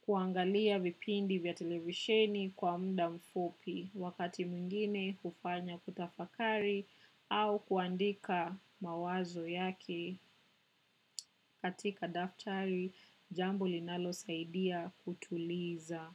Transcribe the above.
kuangalia vipindi vya televisheni kwa muda mfupi wakati mwingine hufanya kutafakari au kuandika mawazo yake katika daftari jambo linalo saidia kutuliza.